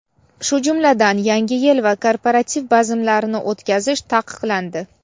shu jumladan Yangi yil va korporativ bazmlarini o‘tkazish taqiqlandi;.